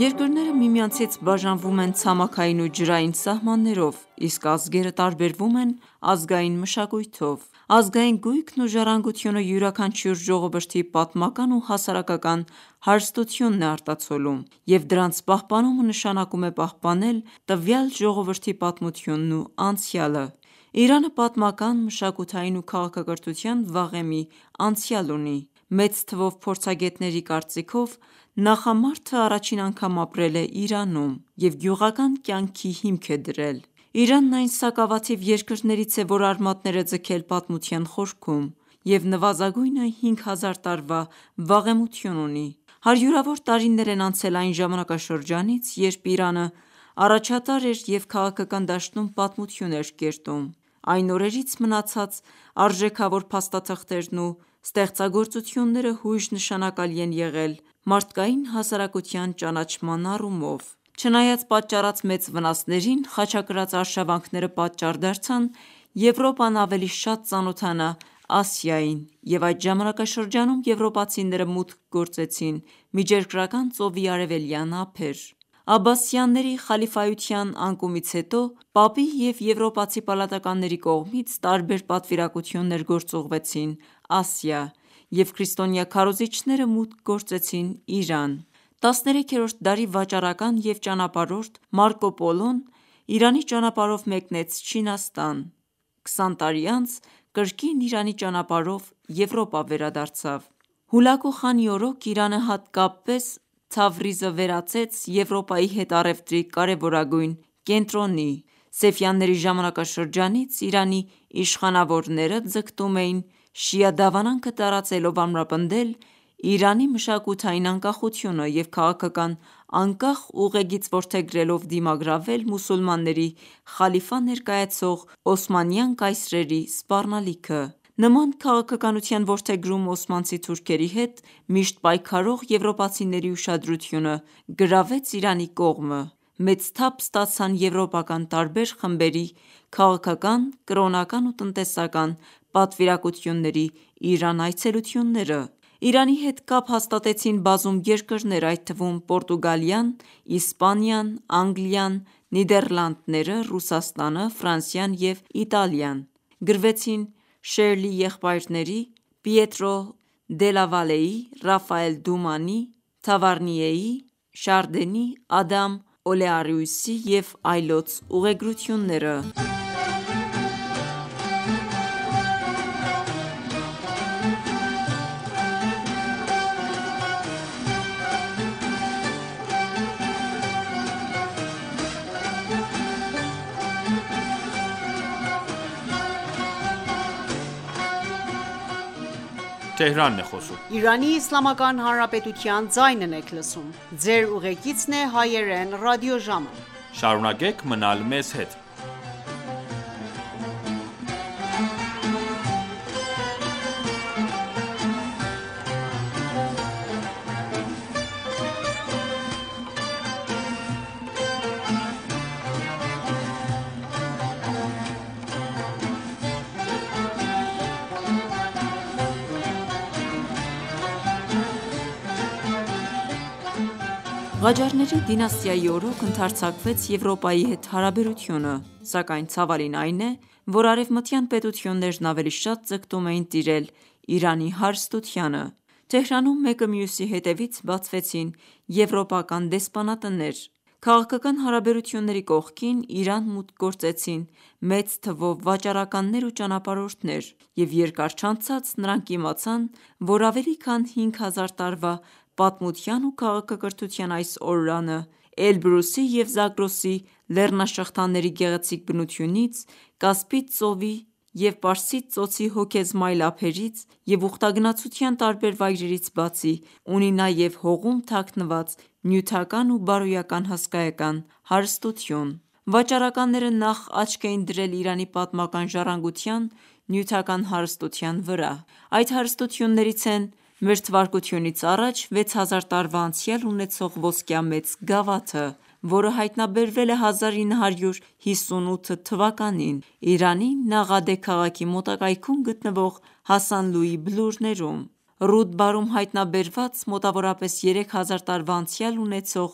Երկրները միմյանցից բաժանվում են ցամաքային ու ջրային սահմաններով, իսկ ազգերը տարբերվում են ազգային մշակույթով: Ազգային գույքն ու ժառանգությունը յուրաքանչյուր ժողովրդի պատմական ու հասարակական հարստությունն է արտացոլում և դրանց պահպանումը նշանակում է պահպանել տվյալ ժողովրդի պատմությունն ու անցյալը: Իրանը պատմական, մշակութային ու քաղաքակրթության վաղեմի անցյալ ունի: Մեծ թվով փորձագետների կարծիքով, նախամարդն առաջին անգամ ապրել է Իրանում և գյուղական կյանքի հիմք է դրել: Իրանն այն սակավաթիվ երկրներից է, որ արմատներ է ձգել պատմության խորքում և նվազագույնը հինգ հազար տարվա վաղեմություն ունի: Հարյուրավոր տարիներ են անցել այն ժամանակաշրջանից, երբ Իրանն առաջատար էր և քաղաքական դաշտում պատմություն էր կերտում: Այն օրերից մնացած արժեքավոր փաստաթղթերն ու ստեղծագործությունները հույժ նշանակալի են եղել մարդկային հասարակության ճանաչման ոլորտում: Չնայած պատճառած մեծ վնասներին, խաչակրաց արշավանքները պատճառ դարձան Եվրոպան ավելի շատ ծանոթանա Ասիային և այդ ժամանակաշրջանում եվրոպացիները մուտք գործեցին Միջերկրական ծովի արևելյան ափեր: Աբբասյանների խալիֆայության անկումից հետո, Պապի և եվրոպացի պալատականների կողմից տարբեր պատվիրակություններ գործուղվեցին Ասիա և քրիստոնյա քարոզիչները մուտք գործեցին Իրան: 13-րդ դարի վաճառական և ճանապարհորդ Մարկո Պոլոն Իրանի ճանապարհով մեկնեց Չինաստան: 20 տարի անց կրկին Իրանի ճանապարհով Եվրոպա վերադարձավ: Հուլավու խանի օրոք Իրանը, հատկապես Թավրիզը վերածվեց Եվրոպայի հետ առևտրի կարևորագույն կենտրոնի: Սեֆյանների ժամանակաշրջանից Իրանի իշխանավորները ձգտում էին շիա դավանանքը տարածելով ամրապնդել Իրանի մշակութային անկախությունը և քաղաքական անկախ ուղեգիծ որդեգրելով դիմագրավել մուսուլմանների խալիֆա ներկայացող օսմանյան կայսրերի սպառնալիքը: Նման քաղաքականության որդեգրումը օսմանցի թուրքերի հետ միշտ պայքարող եվրոպացիների ուշադրությունը գրավեց Իրանի կողմը: Մեծ թափ ստացան եվրոպական տարբեր խմբերի, քաղաքական, կրոնական ու տնտեսական պատվիրակությունների Իրան այցելությունները: Իրանի հետ կապ հաստատեցին բազում երկրներ, այդ թվում` Պորտուգալիան, Իսպանիան, Անգլիան, Նիդերլանդները, Ռուսաստանը, Ֆրանսիան և Իտալիան: Գրվեցին Շերլի եղբայրների, Պիետրո Դելավալեի, Ռաֆաել Դումանի, Թավարնիեի, Շարդենի, Ադամ Օլեարիուսի և այլոց ուղեգրությունները: Ղաջարների դինաստիայի օրոք ընդարձակվեց Եվրոպայի հետ հարաբերությունը: Սակայն ցավալին այն է, որ Արևմտյան պետություններն ավելի շատ ձգտում էին տիրել Իրանի հարստությանը: Թեհրանում մեկը մյուսի հետևից բացվեցին եվրոպական դեսպանատներ: Քաղաքական հարաբերությունների կողքին, Իրան մուտք գործեցին մեծ թվով վաճառականներ ու ճանապարհորդներ և երկար չանցած, նրանք իմացան, որ ավելի քան հինգ հազար տարվա պատմության ու քաղաքակրթության այս օրրանը Էլբրուսի և Զագրոսի գեղեցիկ բնությունից, Կասպից ծովի և Պարսից ծոցի հոգեզմայլ ափերից և ուխտագնացության տարբեր վայրերից բացի ունի նաև հողում թագնված նյութական ու բարոյական հսկայական հարստություն: Վաճառականները նախ աչք էին դրել Իրանի պատմական ժառանգության նյութական հարստության վրա: Այդ հարստություններից են` Մթա. 6 հազար տարվա անցյալ ունեցող ոսկյա մեծ գավաթը, որը հայտնաբերվել է 1958 թվականին Իրանի Նաղադե քաղաքի մոտակայքում գտնվող Հասանլուի բլուրներում, Ռուդբարում հայտնաբերված մոտավորապես երեք հազար տարվա անցյալ ունեցող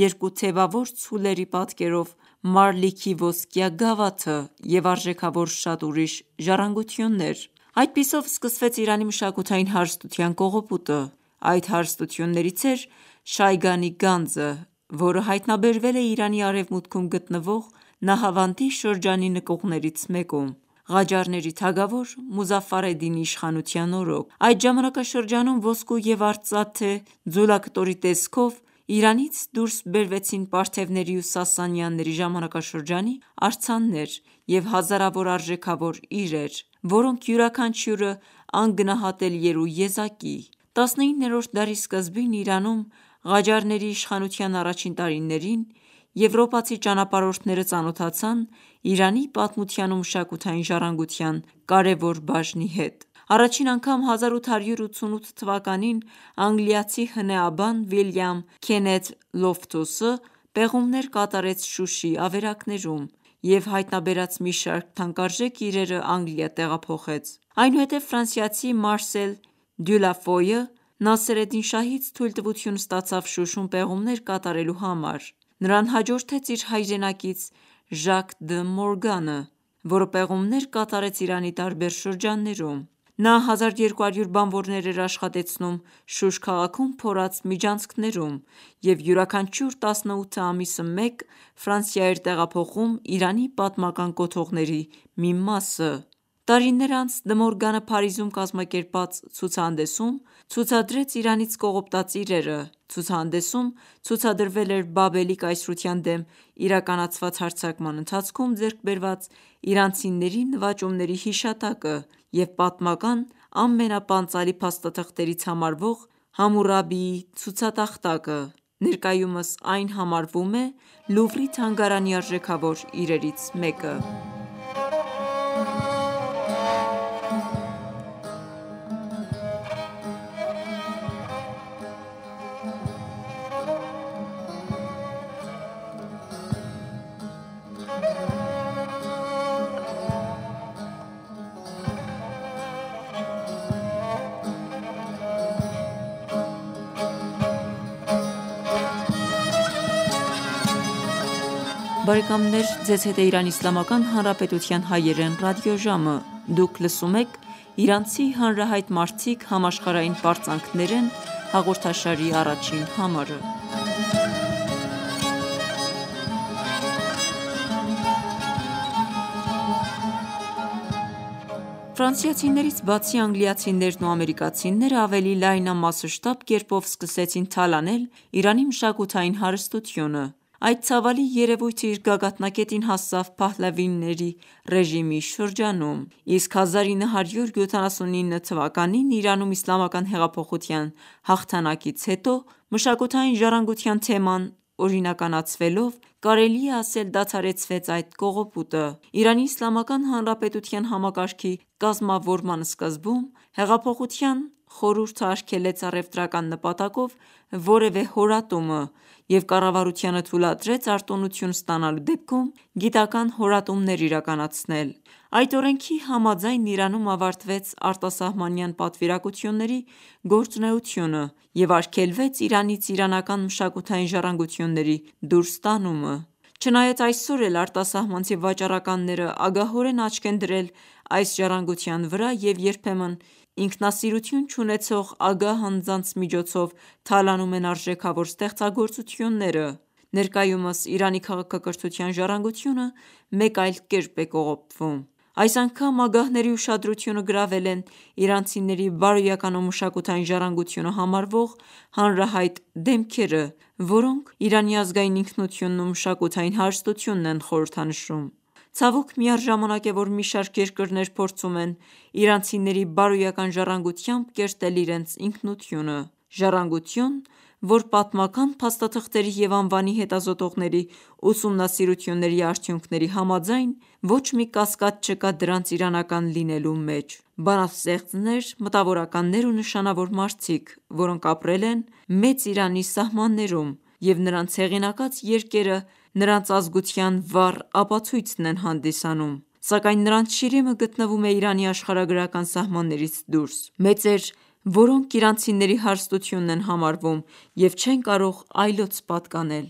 երկու թևավոր կովերի պատկերով «Մարլիք»-ի ոսկյա գավաթը և արժեքավոր շատ ուրիշ ժառանգություններ: Այդպիսով սկսվեց Իրանի մշակութային հարստության կողոպուտը: Այդ հարստություններից էր «Շայգան»-ի գանձը, որը հայտնաբերվել է Իրանի արևմուտքում գտվող Նահավանդի շրջանի նկուղներից մեկում, Ղաջարների թագավոր Մուզաֆարեդդինի իշխանության օրոք: Այդ ժամանակաշրջանում ոսկու և արծաթե ձուլակտորի տեսքով Իրանից դուրս բերվեցին պարթևների ու սասանյանների ժամանակաշրջանի արձաններ և հազարավոր արժեքավոր իրեր, որոնք յուրաքանչյուրը գլուխգործոց էին հանդիսանում: 19-րդ դարի սկզբին, Իրանում Ղաջարների իշխանության առաջին տարիներին, եվրոպացի ճանապարհորդները ծանոթացան Իրանի պատմության ու մշակութային ժառանգության կարևոր բաժնի հետ: Առաջին անգամ, 1888 թվականին, անգլիացի հնեաբան` Վիլիամ Քենեթ Լոֆթուսը պեղումներ կատարեց Շուշի ավերակներում և հայտանբերած մի շարք թանկարժեք իրերն Անգլիա տեղափոխեց: Այնուհետև ֆրանսիացի Մարսել Դյուլաֆոյը Նասերեդդին շահից թույլտվություն ստացավ Շուշում պեղումներ կատարելու համար: Նրան հաջորդեց իր հայրենակից Ժակ Դը Մորգանը, որը պեղումներ կատարեց Իրանի տարբեր շրջաններում: Նա 1200 բանվորներ էր աշխատեցնում Շուշ քաղաքում փորած միջանցքներում և յուրաքանչյուր 18 ամիսը մեկ Ֆրանսիա էր տեղափոխում Իրանի պատմական կոթողների մի մասը: Տարիներ անց, Դը Մորգանը Փարիզում կազմակերպած ցուցահանդեսում ցուցադրեց Իրանից կողոպտած իրերը: Ցուցահանդեսում ցուցադրվել էր Բաբելի կայսրության դեմ իրականացված հարձակման ընթացքում ձեռք բերված իրանցիների նվաճումների հիշատակը և պատմական ամենապանծալի փաստաթղթերից համարվող Համուրաբիի ցուցատախտակը: Ներկայումս այն համարվում է «Լուվրի» թանգարանի արժեքավոր իրերից մեկը: Ֆրանսիացիներից բացի, անգլիացիներն ու ամերիկացիներն ավելի լայնամասշտաբ կերպով սկսեցին թալանել Իրանի մշակութային հարստությունը: Այդ ցավալի երևույթն իր գագաթնակետին հասավ փահլավիների ռեժիմի շրջանում: Իսկ 1979 թվականին Իրանում իսլամական հեղափոխության հաղթանակից հետո, «մշակութային ժառանգության» թեման օրինականացվելով կարելի է ասել դադարեցվեց այդ կողոպուտը: Իրանի իսլամական հանրապետության համակարգի կազմավորման սկզբում, հեղափոխության խորհուրդն արգելեց առևտրական նպատակով որևէ հորատումը և կառավարությանը թուլատրեց արտոնություն ստանալու դեպքում գիտական հորատումներ իրականացնել: Այդ օրենքի համաձայն, Իրանում ավարտվեց արտասահմանյան պատվիրակությունների գործունեությունը և արգելվեց Իրանից իրանական մշակութային ժառանգությունների դուրս տանումը: Չնայած այսօր էլ արտասահմանցի վաճառականներն ագահորեն աչք են դրել այս ժառանգության վրա և երբեմն ինքնասիրություն չունեցող ագահ անձանց միջոցով թալանում են արժեքավոր ստեղծագործությունները: Ներկայումս Իրանի քաղաքակրթության ժառանգությունը մեկ այլ կերպ է կողոպտվում: Այս անգամ ագահների ուշադրությունը գրավել են իրանցիների բարոյական ու մշակութային ժառանգությունը համարվող հանրահայտ դեմքերը, որոնք Իրանի ազգային ինքնությունն ու մշակութային հարստությունն են խորհրդանշում: Ցավոք միառժամանակ է, որ մի շարք երկրներ փորձում են իրանցիների բարոյական ժառանգությամբ կերտել իրենց ինքնությունը: Ժառանգություն, որ պատմական փաստաթղթերի և անվանի հետազոտողների ուսումնասիրությունների արդյունքների համաձայն, ոչ մի կասկած չկա դրանց իրանական լինելու մեջ: Բանաստեղծներ, մտավորականներ ու նշանավոր մարդիկ, որոնք ապրել են մեծ Իրանի սահմաններում և նրանց հեղինակած երկրերը նրանց ազգության վառ ապացույցն են հանդիսանում, սակայն նրանց շիրիմը գտնվում է Իրանի աշխարհագրական սահմաններից դուրս: Մեծեր, որոնք իրանցիների հարստությունն են համարվում և չեն կարող այլոց պատկանել: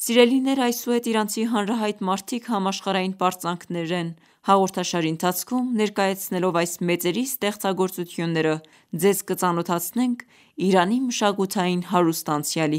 Սիրելիներ այսուհետ «Իրանցի հանրահայտ մարդիկ, համաշխարհային պարծանք» հաղորդաշարի ընթացքում ներկայացնելով այս մեծերի ստեղծագործությունները, Ձեզ կծանոթացնենք Իրանի մշակութային հարուստ անցյալի